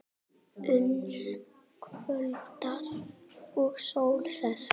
Uns kvöldar og sól sest.